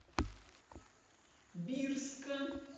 бирска